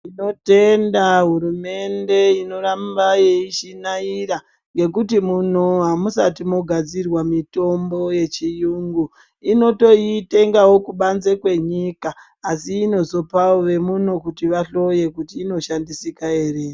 Tinotenda hurumende inoramba yeishinaira ngekuti muno amusati mogadzirwa mitombo yechiyungu. Inotoitengawo kubanze kwenyika, asi inozopawo vemuno kuti vahloye, kuti inoshandisika ere.